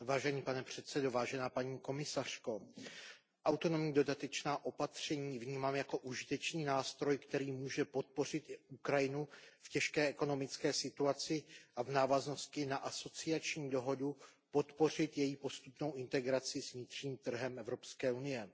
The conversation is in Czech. Vážený pane předsedající, vážená paní komisařko, autonomní dodatečná opatření vnímám jako užitečný nástroj, který může podpořit Ukrajinu v těžké ekonomické situaci a v návaznosti na asociační dohodu podpořit její postupnou integraci s vnitřním trhem Evropské unie.